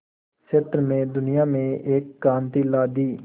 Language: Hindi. क्षेत्र में दुनिया में एक क्रांति ला दी